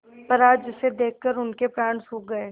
पर आज उसे देखकर उनके प्राण सूख गये